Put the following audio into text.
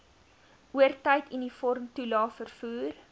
oortyd uniformtoelae vervoer